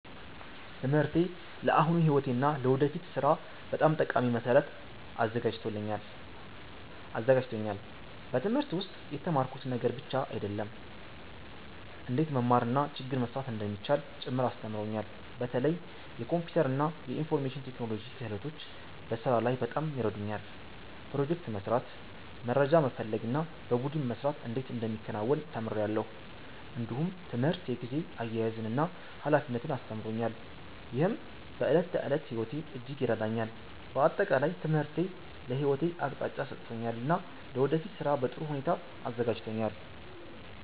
ትምህርቴ ለአሁኑ ሕይወቴ እና ለወደፊት ሥራ በጣም ጠቃሚ መሠረት አዘጋጅቶኛል። በትምህርት ውስጥ የተማርኩት ነገር ብቻ አይደለም፣ እንዴት መማር እና ችግር መፍታት እንደሚቻል ጭምር አስተምሮኛል። በተለይ የኮምፒውተር እና የኢንፎርሜሽን ቴክኖሎጂ ክህሎቶች በስራ ላይ በጣም ይረዱኛል። ፕሮጀክት መስራት፣ መረጃ መፈለግ እና በቡድን መስራት እንዴት እንደሚከናወን ተምሬአለሁ። እንዲሁም ትምህርት የጊዜ አያያዝን እና ኃላፊነትን አስተምሮኛል፣ ይህም በዕለት ተዕለት ሕይወቴ እጅግ ይረዳኛል። በአጠቃላይ ትምህርቴ ለሕይወቴ አቅጣጫ ሰጥቶኛል እና ለወደፊት ሥራ በጥሩ ሁኔታ አዘጋጅቶኛል።